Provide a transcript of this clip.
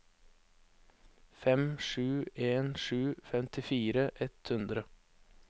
fem sju en sju femtifire ett hundre